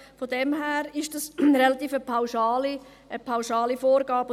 Von daher ist es eine ziemlich pauschale Vorgabe.